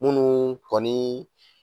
Minnu kɔni